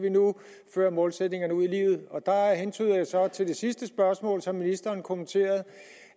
føre målsætningerne ud i livet og der hentyder jeg så til det sidste spørgsmål som ministeren kommenterede